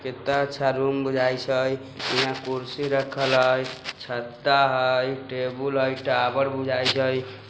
कितना रूम बोझाइ छेइ हिंया कुर्सी रखल हई छत्ता हई टेबुल हई टावर बुझाइत हई।